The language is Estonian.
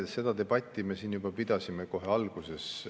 Seda debatti me siin juba pidasime kohe alguses.